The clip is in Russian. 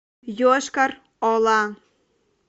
йошкар ола